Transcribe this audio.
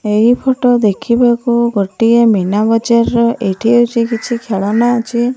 ଏହି ଫଟ ଦେଖିବାକୁ ଗୋଟିଏ ମୀନା ବଜାର୍ ର ଏଠି ଅଛି। କିଛି ଖେଳନା ଅଛି।